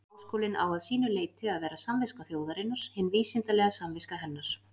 Háskólinn á að sínu leyti að vera samviska þjóðarinnar, hin vísindalega samviska hennar.